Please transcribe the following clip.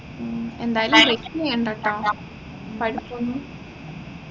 എന്തായാലും ചെയ്യണ്ടട്ടോ പഠിപ്പൊന്നും